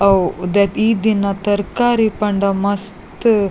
ಅವು ಈ ದಿನ ತರಕಾರಿ ಪಂಡ ಮಸ್ತ್--